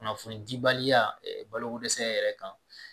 Kunnafoni dibaliya baloko dɛsɛ yɛrɛ kan